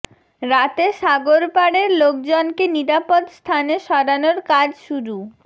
রাতে সাগর পাড়ের লোকজনকে নিরাপদ স্থানে সরানোর কাজ শুরু